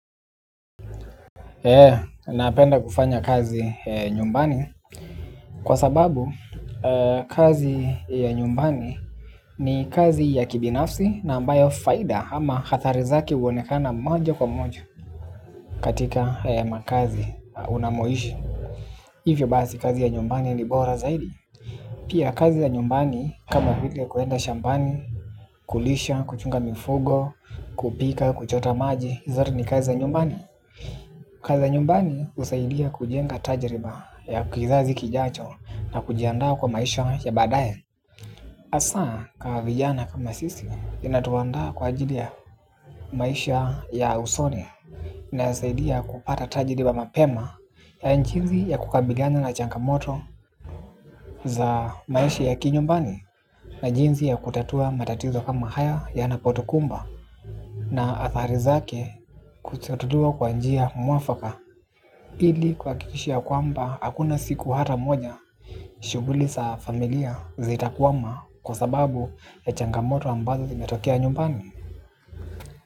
He, napenda kufanya kazi nyumbani. Kwa sababu, kazi ya nyumbani ni kazi ya kibinafsi. Na ambayo faida ama athari zake huonekana moja kwa moja. Katika makazi unamoishi. Hivyo basi kazi ya nyumbani ni bora zaidi. Pia kazi ya nyumbani, kama vile kuenda shambani, kulisha, kuchunga mifugo, kupika, kuchota maji zote ni kazi ya nyumbani. Kazi za nyumbani husaidia kujenga tajiriba ya kizazi kijacho na kujiandaa kwa maisha ya badaye hasa kwa vijana kama sisi inatuandaa kwa ajili ya maisha ya usoni. Nasaidia kupata tajiriba mapema ya jinsi ya kukabiliana na changamoto za maisha ya kinyumbani. Na jinsi ya kutatua matatizo kama haya yanapotukumba na athari zake kututudua kwa njia mwafaka. Pili kuhakikisha kwamba hakuna siku hata moja. Shughuli za familia zitakwama kwa sababu ya changamoto ambazo zimetokea nyumbani.